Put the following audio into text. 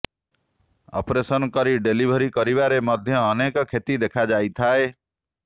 operation କରି delivery କରିବାରେ ମଧ୍ୟ ଅନେକ କ୍ଷତି ଦେଖାଯାଇଥାଏ